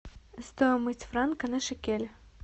стоимость франка на шекель